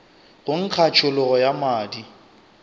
go nkga tšhologo ya madi